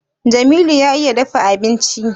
Jamilu ya iya dafa abinci?